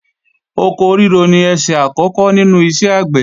Oko ríro ni ẹsẹ̀ àkọ́kọ́ nínú iṣẹ́ àgbẹ̀